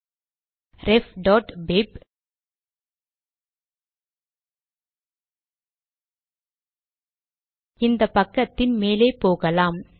refபிப் இந்த பக்கத்தின் மேலே போகலாம்